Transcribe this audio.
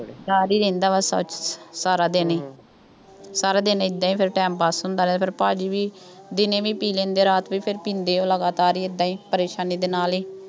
ਡਰ ਹੀ ਰਹਿੰਦਾ ਵਾ ਸਾਰਾ ਦਿਨ ਹੀ, ਸਾਰਾ ਦਿਨ ਏਦਾਂ ਹੀ ਫੇਰ time pass ਹੁੰਦਾ ਰਿਹਾ ਫੇਰ ਭਾਅ ਜੀ ਵੀ ਦਿਨੇ ਵੀ ਪੀ ਲੈਂਦੇ, ਰਾਤ ਨੂੰ ਵੀ ਫੇਰ ਪੀਂਦੇ ਉਹ ਲਗਾਤਾਰ, ਏਦਾਂ ਹੀ, ਪਰੇਸ਼ਾਨੀ ਦੇ ਨਾਲ ਹੀ,